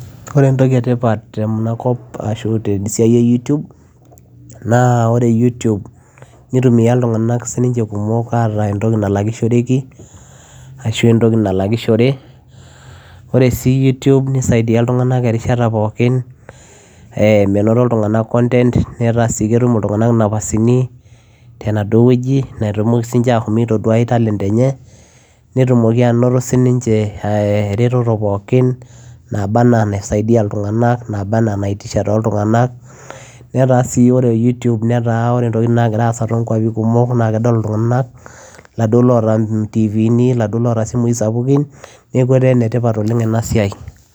Ore entoki etipat tenakop ashu te siaai e YouTube naa ore YouTube neitumia sii ninche iltungana kumok ataa entoki nalakishoreki, ashu entoki nalakishore ore si YouTube neisaidie iltungana erishata pookin ee menoto iltungana content netaa sii ketum iltungana napasini tenaduoo wueji peetumoki sininche ashom atoduai talent enye, netumoki anoto di ninche ee eretoto pookin naaba enaa enasaidia iltungana naaba enaa enaiitisha too iltungana, netaa sii ore YouTube netaa ore intokitin nagira aaza too kuapi kumok ana kedol iltungana laduoo loota itivini laduoo oota isimuii sapukin neeku etaa enetipat oleng ena siaai.